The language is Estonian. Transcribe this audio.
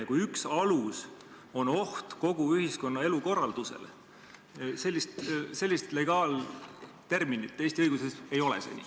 Ja üheks aluseks nimetatakse ohtu kogu ühiskonna elukorraldusele, kuigi sellist legaalterminit Eesti õiguses ei ole.